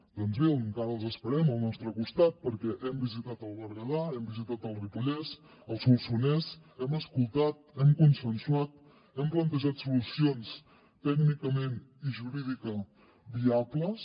doncs bé encara els esperem al nostre costat perquè hem visitat el berguedà hem visitat el ripollès el solsonès hem escoltat hem consensuat hem plantejat solucions tècnicament i jurídica viables